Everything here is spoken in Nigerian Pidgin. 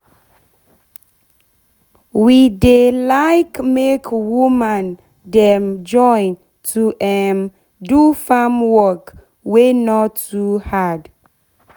we dey like make woman dem join to um do farm work wey nor too hard